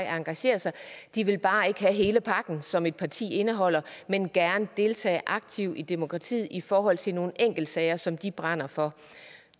engagere sig de vil bare ikke have hele pakken som et parti indeholder men gerne deltage aktivt i demokratiet i forhold til nogle enkeltsager som de brænder for